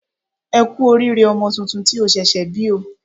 E kú oríire ọmọ tuntun tí o ṣẹ̀ṣẹ̀ bí o